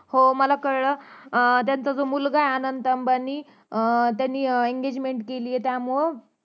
हो मला कळलं अह त्यांचा जो मुलगा आहे अनंत अंबानी अह त्यांनी engegment केलीये त्यामुळ